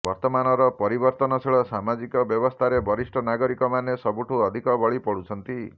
ବର୍ତ୍ତମାନର ପରିବର୍ତ୍ତନଶୀଳ ସାମାଜିକ ବ୍ୟବସ୍ଥାରେ ବରିଷ୍ଠ ନାଗରିକ ମାନେ ସବୁଠାରୁ ଅଧିକ ବଳି ପଡ଼ୁଛନ୍ତି